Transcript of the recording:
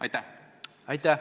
Aitäh!